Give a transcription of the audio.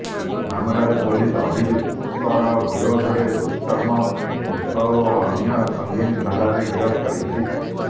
ମାମଲାରେ ପୋଲିସ ଅଭିଯୁକ୍ତର ବିରୋଧରେ ଦୁଷ୍କର୍ମ ପୋକ୍ସୋ ଓ ଅନ୍ୟ ସଙ୍ଗୀନ ଧାରାରେ ଗିରଫ କରିଛି